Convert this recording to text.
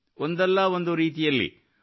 ಒಂದಲ್ಲ ಒಂದು ರೀತಿಯಲ್ಲಿ 1